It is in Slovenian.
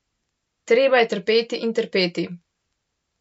Treba je trpeti in trpeti.